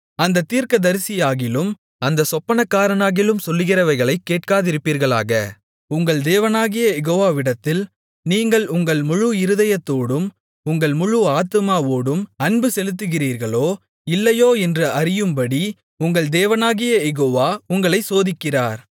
அந்தத் தீர்க்கதரிசியாகிலும் அந்தச் சொப்பனக்காரனாகிலும் சொல்லுகிறவைகளைக் கேட்காதிருப்பீர்களாக உங்கள் தேவனாகிய யெகோவாவிடத்தில் நீங்கள் உங்கள் முழு இருதயத்தோடும் உங்கள் முழு ஆத்துமாவோடும் அன்புசெலுத்துகிறீர்களோ இல்லையோ என்று அறியும்படி உங்கள் தேவனாகிய யெகோவா உங்களைச் சோதிக்கிறார்